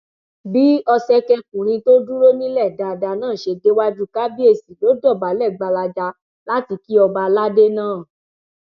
bí ọsẹkẹkùnrin tó dúró nílẹ dáadáa náà ṣe déwájú kábíyèsí ló dọbálẹ gbalaja láti kí ọba aládé náà